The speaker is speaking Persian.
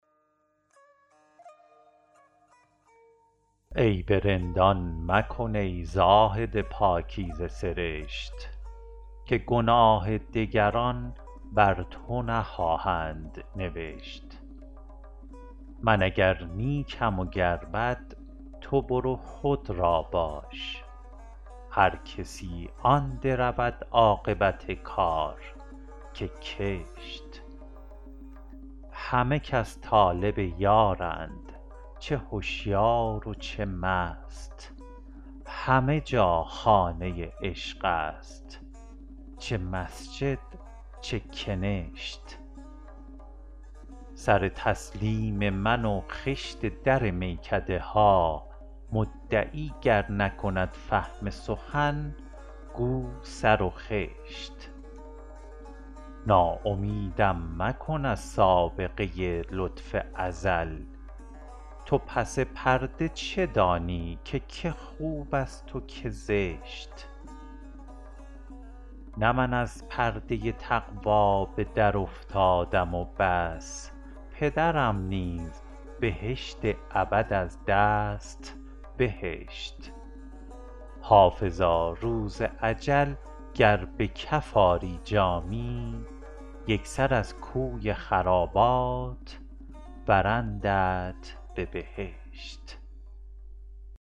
عیب رندان مکن ای زاهد پاکیزه سرشت که گناه دگران بر تو نخواهند نوشت من اگر نیکم و گر بد تو برو خود را باش هر کسی آن درود عاقبت کار که کشت همه کس طالب یارند چه هشیار و چه مست همه جا خانه عشق است چه مسجد چه کنشت سر تسلیم من و خشت در میکده ها مدعی گر نکند فهم سخن گو سر و خشت ناامیدم مکن از سابقه لطف ازل تو پس پرده چه دانی که که خوب است و که زشت نه من از پرده تقوا به درافتادم و بس پدرم نیز بهشت ابد از دست بهشت حافظا روز اجل گر به کف آری جامی یک سر از کوی خرابات برندت به بهشت